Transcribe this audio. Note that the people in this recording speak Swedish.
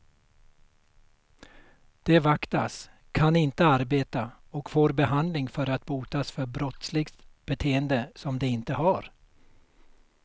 De vaktas, kan inte arbeta och får behandling för att botas för brottsligt beteende som de inte har.